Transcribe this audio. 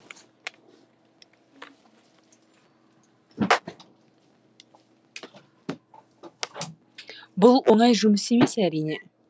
бұл оңай жұмыс емес әрине